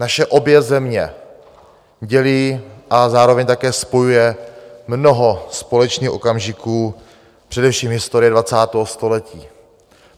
Naše obě země dělí a zároveň také spojuje mnoho společných okamžiků, především historie 20. století.